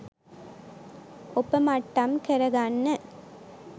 ඔපමට්ටම් කරගන්න